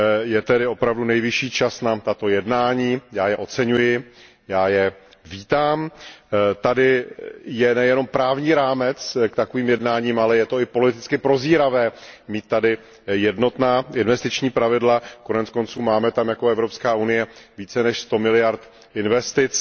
Je tedy opravdu nejvyšší čas na tato jednání, já je oceňuji, já je vítám. Tady je nejenom právní rámec k takovým jednáním, ale je to i politicky prozíravé mít jednotná investiční pravidla, koneckonců máme tam jako Evropská unie více než sto miliard investic.